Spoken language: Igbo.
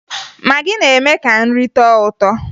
Magị na-eme ka nri tọọ ụtọ